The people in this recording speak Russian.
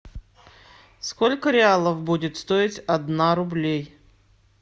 сколько реалов будет стоить одна рублей